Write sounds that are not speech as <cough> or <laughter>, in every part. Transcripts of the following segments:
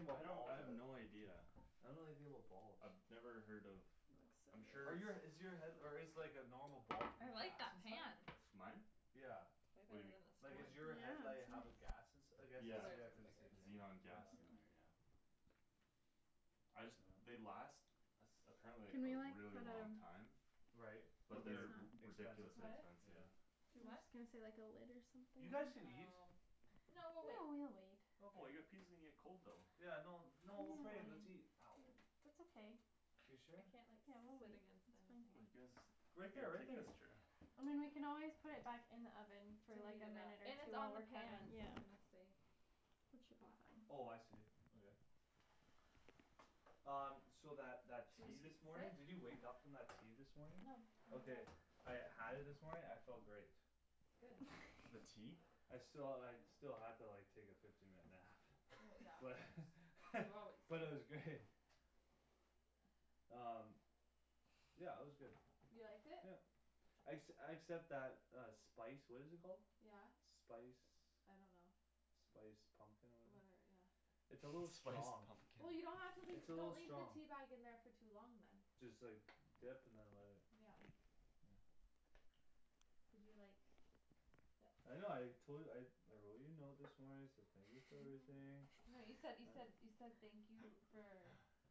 I about don't I bulbs, I have don't no idea I don't know anything about bulbs I've never heard of I'm Are sure you a is it's your head- or is like a normal bulb I like gas that inside? pan Mine? Yeah Way What do better you than Like mean, what? is your Yeah the <inaudible> headlight it's have a gas nice ins- , I guess it's Yeah, Probably cuz yeah it's cuz it thicker says xenon like, too yeah gas in there yeah I just, they last Apparently like Can we a like, really put long um time Right, Put but But this they're they're expensive s- ridiculously on What? expensive yeah I was Do what? just gonna say like a lid or something You guys can eat Oh No No we'll we'll wait wait Oh well Okay your pizza's gonna get cold though Yeah no no Mm we'll put it in, I let's eat mean <inaudible> That's okay You I sure? can't like Yeah sit we'll against wait, anything Come it's you fine guys, Right there here right take there this chair I mean we can always put it back in the oven, for To like heat a it up, minute or and it's on the two pan, <inaudible> so yeah it's gonna stay It should hot be fine. Oh I see, okay Um, so that that I tea guess he's this <noise> morning, did you Sit? wake up from that tea this morning? No Okay <inaudible> I had it this morning, I felt great good <laughs> the that's tea? I sti- I still had to like take a fifteen minute nap well but <laughs> yeah <laughs> you always but sleep it was great <noise> um yeah it was good you liked it? yeah exc- except that uh spice what is it called? yeah spice I don't know spice pumpkin or whatever yeah it's a little spice strong pumpkin well you don't have to leave it's a don't little leave the strong teabag in there for too long then just like dip and then let it yeah yeah did you like th- I know I tol- I I wrote you a note this morning I said thank you <noise> for everything no you <laughs> said you said <noise> you said thank you for <laughs>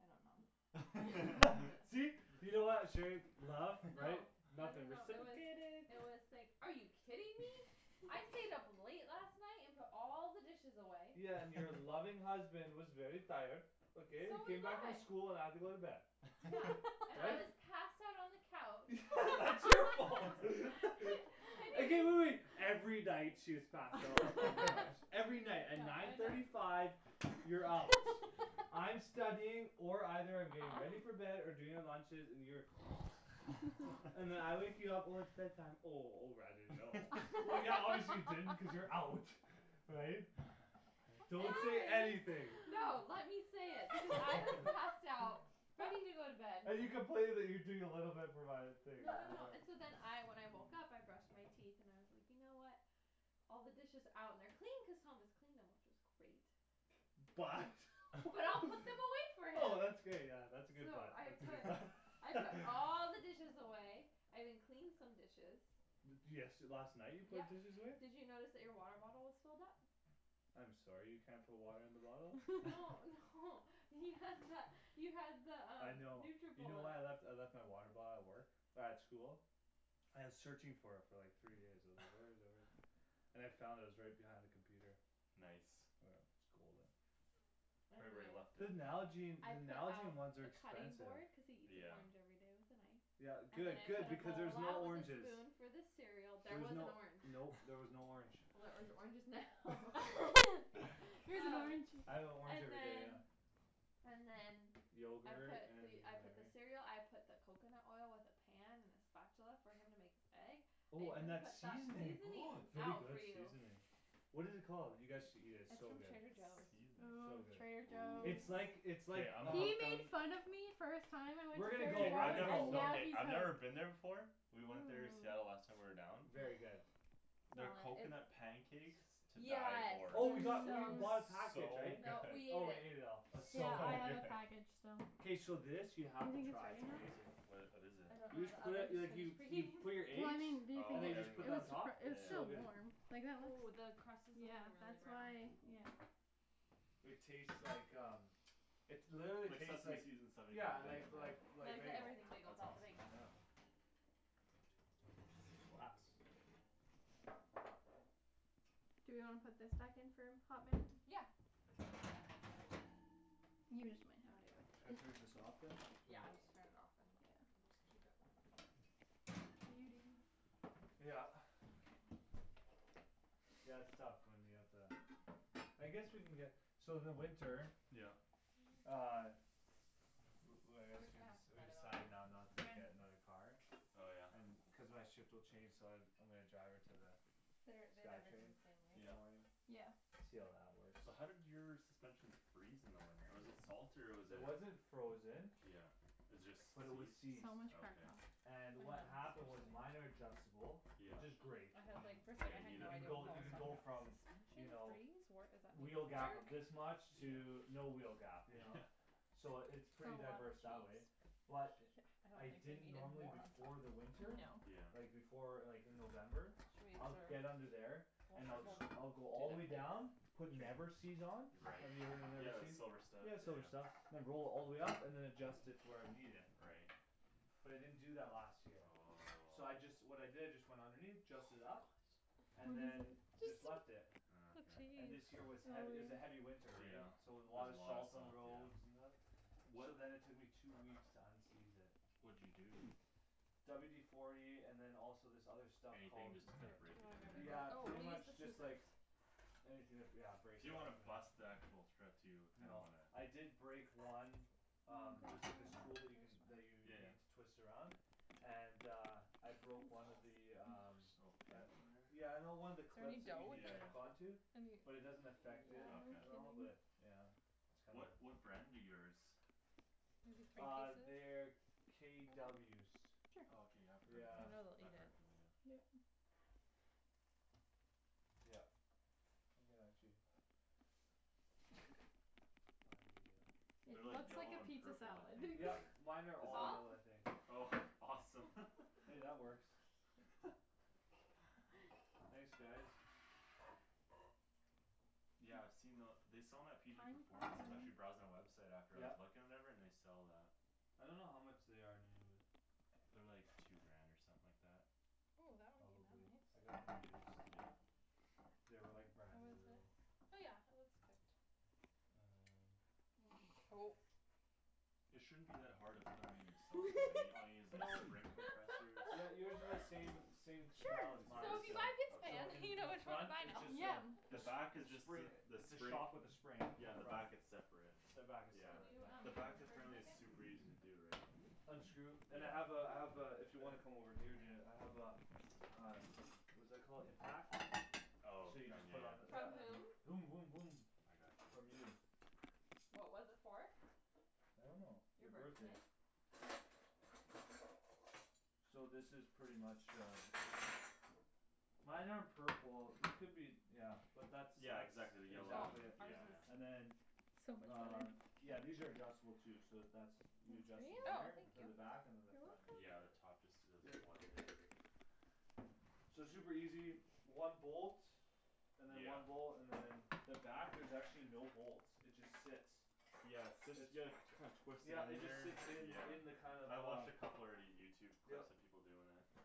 I don't know <laughs> <laughs> see <inaudible> laugh right no <laughs> I don't <inaudible> know it was I was like are you kidding me <laughs> I stayed up late last night and put all the dishes away yeah and your <laughs> loving husband was very tired okay I so was came back from I school and I had to go to bed yeah <laughs> <laughs> and I but was passed out on the couch <laughs> that's your fault <laughs> <laughs> <laughs> okay wait wait wait every night she is passed out in the couch <laughs> every night at yeah nine I know thirty five you're out I'm studying or either I'm getting ready aw for bed or doing the lunches and you're <noise> <noise> <laughs> and then <laughs> I wake you up when it's bed time oh oh r I didn't know <laughs> well yeah obviously you didn't because you're out <laughs> right? <noise> don't say anything <inaudible> no let me say it because I was passed out ready <laughs> to go to bed and you complaining you doing no no no <noise> and <inaudible> so then I when I woke up I brushed my teeth and I was like you know what all the dishes out and they're clean cause Thomas cleaned them which was great but but I'll put <laughs> them away for <laughs> oh him that's great yeah that's a good so but I that's a good put but I put <laughs> all <laughs> the dishes away I even cleaned some dishes de- desh last night you put yup dishes away? did you notice that your water bottle was filled up? I'm sorry you can't put water in the bottle no <laughs> <laughs> <laughs> no you had the you had the I um know you know what I Nutribullet left I left my water bottle at work at school I was searching for it for like three days I was like where is it where is it <noise> and I found it it was right behind the computer nice <inaudible> right where anyway you left it the Nalgene I the put Nalgene out ones are the cutting expensive board because he eats an yeah orange everyday with a knife yeah and then good I good put a because there's bowl no out with a oranges spoon for the cereal there there was was an no orange no there was no orange well <laughs> there's oranges now <laughs> <laughs> <laughs> here's an oh orange I have an orange and everyday yeah then and then I yogurt put the and I put the whatever cereal I put the coconut oil with the pan and the spatula for him to make his egg I oh and even that put that seasoning oh seasonings very out good for you seasoning what it called you guys should eat it it's it's so from good Trader Joe's seasoning so ooo good Trader it's like Joe's ooh it's okay like I'm um hooked on we're gonna go Okay we're I gonna go never we're no I've never been there before we went there in Seattle last hum time we were down very good oh their smell it it's coconut pancakes to die yeah for oh we it's got we <noise> bought a package so <inaudible> <laughs> good no we oh ate we ate it it all it's yeah so so I have good good a <laughs> package so k so this you do you have to think it's try its ready amazing now? wha- what is I it don't know you just the put other it like you you put your <inaudible> well eggs I mean do you and then think it you oh was just put that super on <inaudible> top it was it's yeah so still good warm yeah like that oh looks the crust is like yeah really that's brown why ooh yeah it taste like um it literally like tastes seaseme like seeds in <inaudible> bagel yeah yeah like like like like the bagel everything bagel that's without the awesome bagel yeah glass do we wanna put think back in for a hot minute? yeah should I turn <inaudible> <noise> just this off than yeah I'm just turn it off and just keep it yeah warm in there what are you doing? <noise> yeah yeah okay yeah it's tough when you have to I guess we can get so in the winter yeah uh <noise> li- li- like we're just excuse gonna me have to we we cut all in decided now there not to get when another car oh yeah cuz my shift will change so I I'm gonna drive her to the their they'd sky everything train the same way in the yeah morning right yeah see how that works so how did your suspension freeze in the winter was it salt or was it it wasn't frozen yeah was it but it was just seized seized okay and I know what <inaudible> happened was seriously minor adjustable yeah which is great I I had like mean firstly yeah I you had need you no it can for idea the go what Paul winter you was can talking go <inaudible> about from you suspension know freeze wheel gap of <inaudible> this much to yeah no wheel gap you know yeah <laughs> so it's pretty so a diverse lot that of way cheese but yeah I I don't think they didn't needed normally more on before top the winter No yeah like before like in November I'd get under <inaudible> there and check I'll it sc- out I'll go all the way down <inaudible> put never-seez on right have you ever heard of yeah the never-seez? silver stuff yeah yeah silver yeah stuff <inaudible> all the way up and than adjust it to where I need it right but I didn't do that last year oh so I just what I did is just went underneath adjust it up what and is what it than is just it? left it just ah a okay and little this year cheese, was hea- it oh was a heavy yeah winter yeah so there was a lot of a lot of salt on the salt roads yeah and stuff so wha- then it took me two weeks to unseize it what'd you do? WD forty and than also this other stuff anything called just to kinda break it in <inaudible> there yeah oh pretty we'll use the much just like scissors anything to br- yeah break you it don't up wanna and bust the actual thread too you kinda no wanna I did break one um there's like this tool you can that you yeah need yeah to twist around and uh I balls broke my one of the um little gosh pins in uh there yeah no one of the is there clips any that you dough need with yeah to that hook yeah on <laughs> to any but it doesn't affect it okay at all but yeah it's kinda what what brand do yours maybe three uh they're pieces for them KWs okay I've cuz heard of yeah I them know they'll I've eat it heard of them yeah yup you can actually find the uh it they're like looks like yellow a and pizza purple I salad <laughs> think yup or mine are is all that off <inaudible> I think oh awesome <laughs> hey that works <laughs> thanks guys yeah I've seen the they sell them at PG kind performance I was actually <inaudible> browsing the website after I was yup looking and whatever and they sell that I don't know how much they are new but they're like two grant or something like that ooh that one came out probably nice I got them used yeah they were like brand how new is it? though oh yeah it looks good um oh it shouldn't be that hard to put em in yourself though right all you need is no like spring compressors yeah you would do the same <laughs> <laughs> same <inaudible> as sure as so mine yours if you buy this still so pan okay in you in know the which one to front buy it now. just uh yeah the jus- back is jus- just spring a the its a spring shock with a spring in yeah, the front back it's separate the back is yeah can separate you um the yeah back move for a apparently is second super easy to do right unscrew and I yeah have uh I have uh if you wanna <noise> come over here and do it I have a uh what's that called impact oh so you from just yeah put on the yeah from yeah um whom voom voom voom I got from you you what was it for? I don't know your your birthday birthday so this is pretty much uh mine are purple they could be yeah but that's yeah that's exactly the yellow oh one exactly it yeah ours is yeah and then on yeah these are adjustable too so that's you adjust them oh there for the thank uh-huh back and you than the front is yeah the just there top just does yep a coil yeah so it's super easy one bolt and than yeah one bolt and than the back there's actually no bolts it just sits yeah it sit it's yea- you kind twist it yeah in it just there sits in yeah in the kind of I watched a uh couple already Youtube yup clips of people doin' it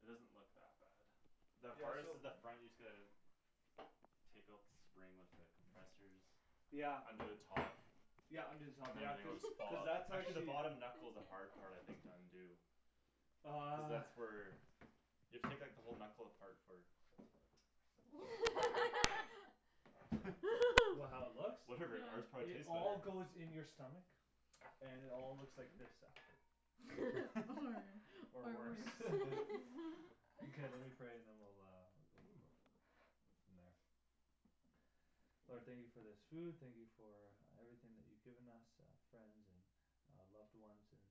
it doesn't look that bad the yeah hardest so is the front you just gotta take out the spring with the compressors yeah under the top yeah under the top and than yeah everything cuz will just cuz follow that's actually the actually bottom knuckle's the hard part I think to undo cuz uh that's where you have to take like the whole knuckle apart for <laughs> <laughs> what how <laughs> it <laughs> looks? whatever ours no probably it tastes all better goes in your stomach and it all looks like this after or worse <laughs> <laughs> okay let me pray and then we'll go ooh for from there Lord thank you for this food thank you for everything that you given us uh friends and uh loved ones and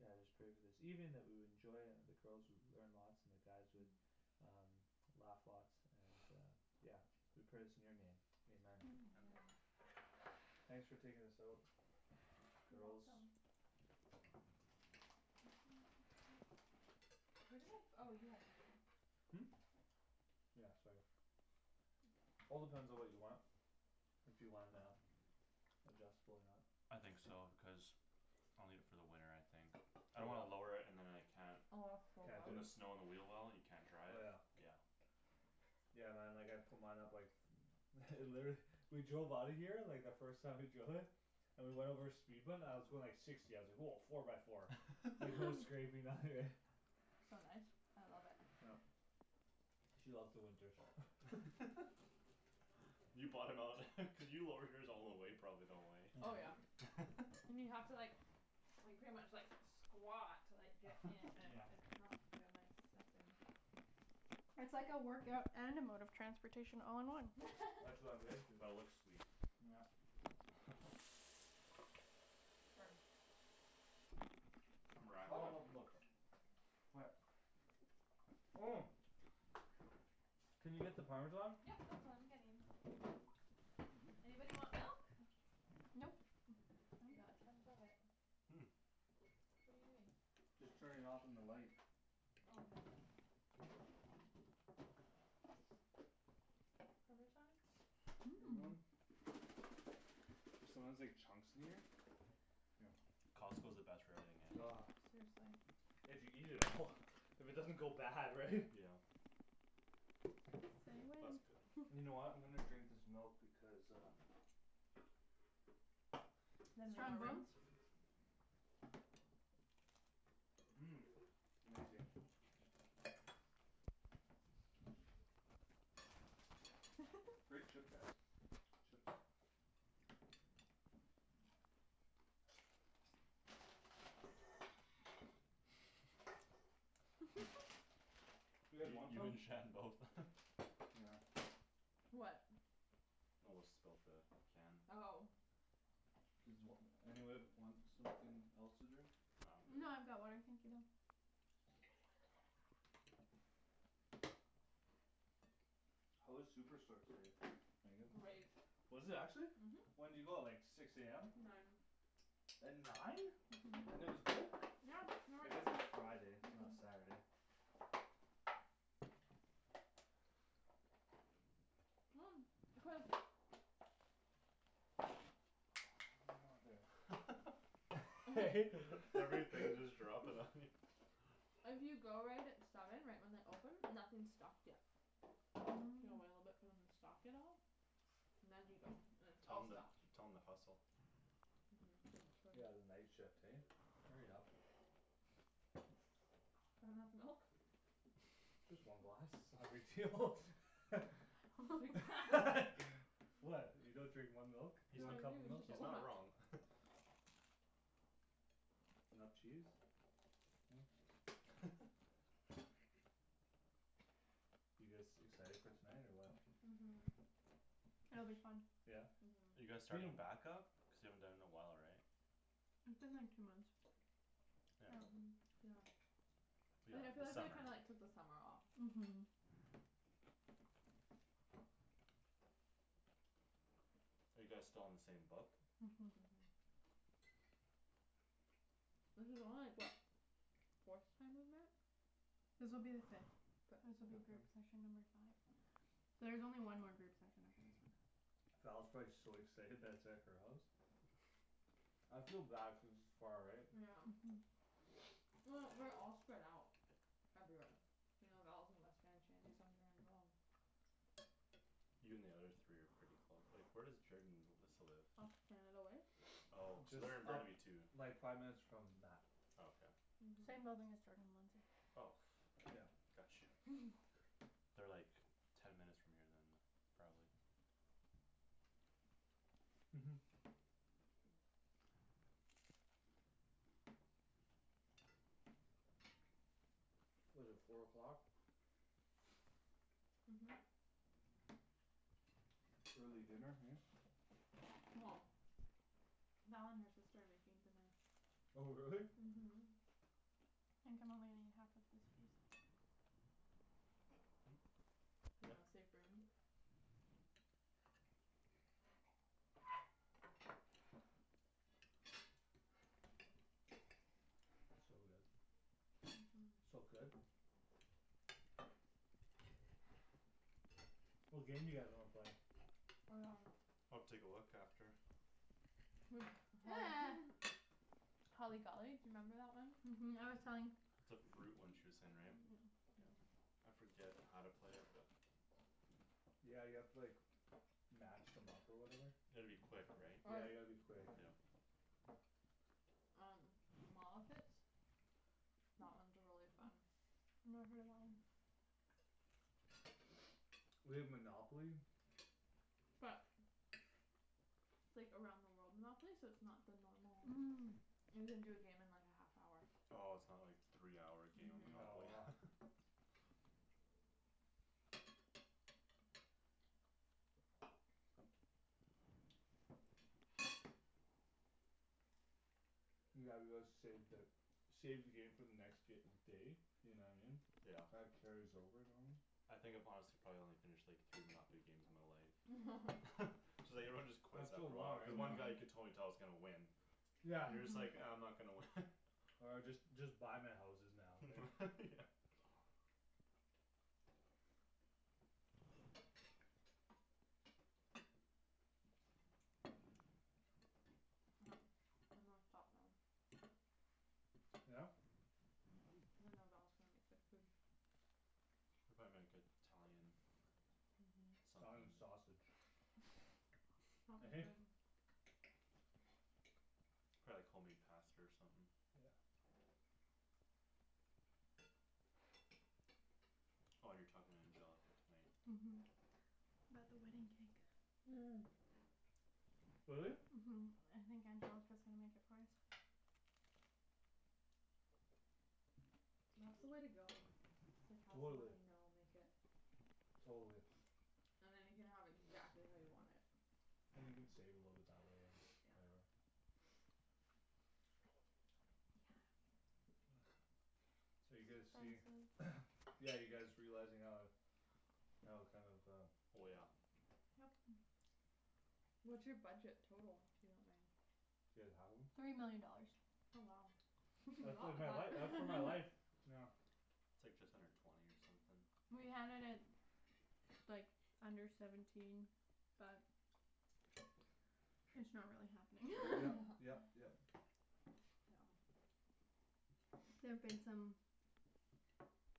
yeah I just pray for this evening that we will enjoy and the girls would learn lots and the guys would <noise> um laugh lots and uh yeah we pray this in your name Amen amen thanks for taking this out girls where did my oh you have my phone hm yeah sorry all depends on what you want if you wan- uh adjustable or not I think so because I'll need it for the winter I think I throw don't wanna what lower it and than I can't can't do put the it <inaudible> snow on the wheel well and you can't drive oh yeah yeah yeah man like I'd put mine up like <noise> <laughs> literally <laughs> we drove outta here like the first time we drove it and we went over a speed bump and I was going like sixty I was like woah four by four like <laughs> no <laughs> scraping nothing right <laughs> so nice I love it yup she loves the winters <laughs> <laughs> you bought him out <laughs> cuz you lowered yours all the way probably eh oh yeah <noise> <laughs> and you have to like like pretty much like squat to like get in <laughs> and yeah it's not gonna I step in it's like a workout and a mode of transportation all in one that's what I'm getting to <laughs> but it looks sweet yeah <laughs> <inaudible> it's all about oh the <inaudible> looks what oh can you get the parmesan yep that's what I'm getting oh anybody want milk? nope we got tons of it hm what're you doing? just turning it off on the light oh parmesan mmm anyone? there's sometimes like chunks in there here Costco's the best for everything eh ah seriously if you eat it all if it doesn't go bad right <laughs> yeah say oh that's good when <noise> you know what I'm gonna drink this milk because uh then we have strong more room bones mmm amazing <laughs> great chip guys chips <laughs> <noise> <laughs> you guys you want you some? and Shan both <laughs> yeah what <inaudible> spilt the can oh does wh- anybody want something else to drink? no No I'm I've good got water thank you though how was Superstore today Meagan? great was it actually mhm when'd you go like six am nine at nine uh-huh and it was good? yeah I guess <inaudible> it's Friday it's not uh- uh Saturday <noise> cuz oh mother <laughs> <laughs> I <noise> hate that <laughs> everything just dropping on <laughs> you if you go right at seven right when they open nothing's stocked yet you gotta wait a little bit hm for them to stock it all and then you go and it's tell all them stocked tell them to hustle uh-huh I should yeah the night shift hey hurry up that enough milk just one glass <laughs> its not a big deal <laughs> <noise> <inaudible> <laughs> <laughs> what you don't drink one milk? he's No one not I do cup of its milk just a he's not lot wrong <laughs> enough cheese huh <laughs> <laughs> you guys excited for tonight or what mhm It'll be fun <noise> yeah are uh-huh you guys its been a starting back-up cuz you haven't done it in a while right It's been like two months yeah hm um yeah yeah I yeah yeah feel the like I summer kinda like took the summer off mhm are you guys still on the same book uh-huh uh-huh this is only like what forth time we've met This will be the fifth fifth this will be uh-huh group <inaudible> session number five so there's only one more group session after this one Val's probably so excited that its at her house <laughs> I feel bad cuz its far right yeah um uh-huh <noise> well we're all spread out everywhere you know Val's in West Van Shandy's on Grant we're all you and the other three are pretty close like where does Jorden and Alyssa live? off Canada Way oh <noise> so just they're in up Burnaby too like five minutes from Mat oh okay same uh-huh building as Jordan and Lindsay oh yeah got you <laughs> they're like ten minutes from here than probably uh-huh what's it four o'clock uh-huh uh-huh early dinner hey well Val and her sister are making dinner oh really? uh-huh I think I'm only gonna eat half of this piece hm you know yeah save room so good uh-huh so good what game do you guys wanna play? <inaudible> I'll take a look after <noise> holly <noise> <laughs> holly golly do you remember that one? uh-huh I was telling it's a fruit one she way saying right uh-huh yeah I forget how to play it but yeah you have to like match them up or whatever you gotta be quick right yeah or you gotta be quick yeah um mall outfits that one's really fun never heard of that one <noise> <noise> we have Monopoly but it's like around the world Monopoly so its not the normal um you can do a game in like a half hour oh its not like three hour game of no uh-huh Monopoly <noise> yeah, let's save the save the game for the next day you know what I mean yeah that carries over normally I think if I'm honest I've probably only finished like three Monopoly games in my life <laughs> <laughs> <laughs> so like everyone just quits it's so after a long while because right one guy you yeah could uh-huh totally tell is gonna win yeah you're just like ah I'm uh-huh not gonna win <laughs> or just just buy my houses now okay <laughs> yeah <noise> <noise> I'm gonna stop now yeah cuz I know Val's gonna make good food they'll probably make it- Italian uh-huh Italian something sausage he - hey <inaudible> probably like home made pasta or something yeah oh you're talking to Angelica tonight uh-huh about the wedding cake uh really? uh-huh I think Angelica's gonna make it for us that's the way to go it's like have someone totally you know make it totally and then you can have <noise> exactly how you want it and you can save a little bit that way or <noise> whatever yeah <noise> so are you it's guys see expensive <noise> yeah you guys realizing how how kinda of um oh yeah yup what's your budget total if you don't mind do you guys have one? three million dollars oh wow you can do a that's lot like with my life uh that's uh my life that <laughs> <laughs> yeah its like just under twenty or something we had it at like under seventeen but it's not really happening yep yep yep <laughs> <laughs> yeah there've <noise> <noise> been some